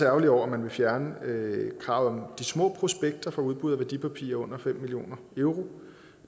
ærgerlige over at man vil fjerne kravet om de små prospekter for udbud af værdipapirer på under fem million euro